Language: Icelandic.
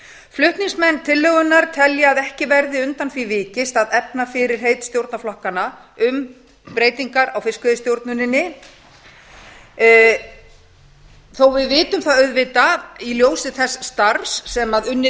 flutningsmenn tillögunnar telja að ekki verði undan því vikist að efna fyrirheit stjórnarflokkanna um breytingar á fiskveiðistjórninni þó við vitum það auðvitað í ljósi þess starfs sem unnið